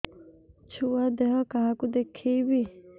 ଛୁଆ ଦେହ କାହାକୁ ଦେଖେଇବି